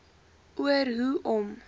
oor hoe om